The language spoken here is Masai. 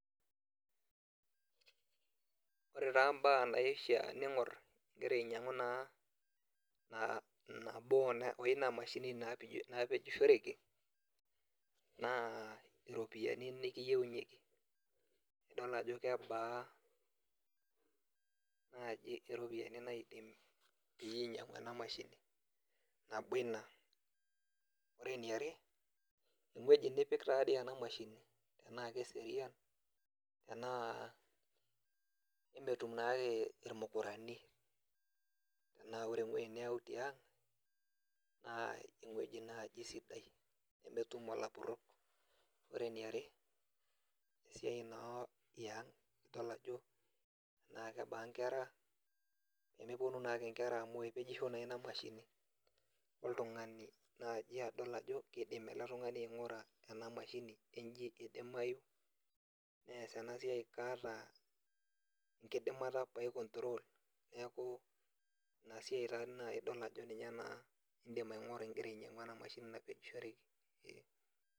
Ore taa mbaa naifaa ningor naa nabo eina mashini naa naapejishoreki, naa iropiyiani nikiyienyieki, nidol ajo kebaa naaji iropiyiani naidim pee inyiang'u ena mashini, nabo Ina, ore eniare ewueji nipik taa dii ena mashini, tenaa keserian tenaa emetum naake ilmukarani, tenaa ore ewueji niyau tiang', naa ewueji naaji sidai nemetum ilapurok, ore eniare esiai naa yiana nidol ajo tenaa kebaa nkera, tenepuonu naa ake nkera amu epejisho naa ina mashini, oltungani naaji adol ajo kidim ele tungani ainguraa ena mashini enye kidimayu nees ena siai enye naa, kaata enkidimata ake nai control neeku Ina siai naaji idol ajo ninye naa idim aingura igira ainyiangu ena mashini naapejishoreki.